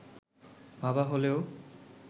ভাবা হলেও